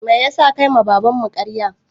Meyasa ka yi ma baban mu ƙarya?